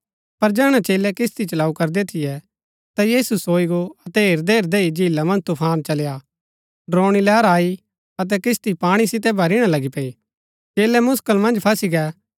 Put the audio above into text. पर जैहणै चेलै किस्ती चलाऊँ करदै थियै ता यीशु सोई गो अतै हेरदैहैरदै ही झीला मन्ज तुफान चली आ डरोणी लैहरा आई अतै किस्ती पाणी सितै भरीणा लगी पैई चेलै मुसकल मन्ज फसी गै